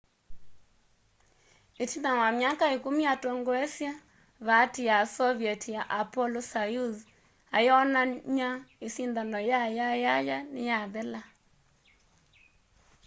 itina wa myaka ikumi atongoesye vaati ya soviet ya apollo-soyuz ayonany'a isindano ya yayaya niyathela